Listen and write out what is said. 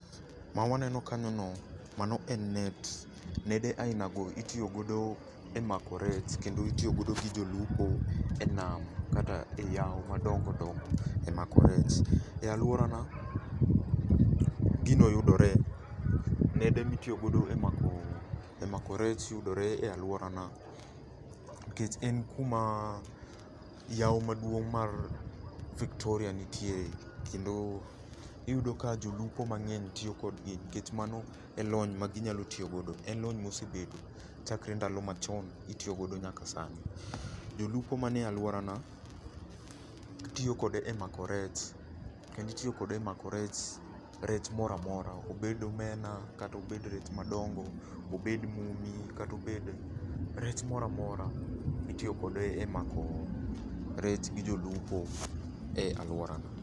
Ma waneno kanyo ni, mano en net. Nede aina go itiyogodo e mako rech, kendo itiyogodo gi jolupo e nam kata e yawo madongo dongo e mako rech. E alworana, gino yudore. Nede mitiyogodo e mako, e mako rech yudore e alworana. Nikech en kuma yawo maduong' mar Victoria nitie kendo iyudo ka jolupo mang'eny tiyo kodgi nikech mano e lony ma ginyalo tiyo godo. En lony mosebedo chakre ndalo machon mitiyogodo nyaka sani. Jolupo manie alworana gitiyo kode e mako rech, kendo itiyo kode e mako rech, rech moramora obed omena, kata obed rech madongo, obed mumi kata obed rech moramora. Itiyo kode e mako rech gi jolupo e alworana.